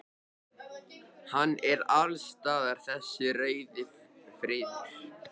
Hann er alls staðar þessi rauði friður.